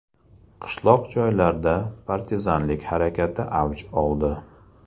Qishloq joylarda partizanlik harakati avj oldi.